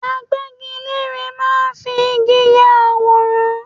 Agbẹgilére máa ń fi igi ya àwòrán.